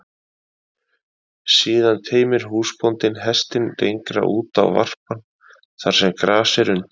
Síðan teymir húsbóndinn hestinn lengra út á varpann, þar sem gras er undir.